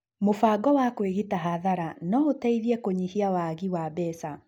Mũbango wa kwĩgita hathara no ũteithie kũnyihia waagagi wa mbeca.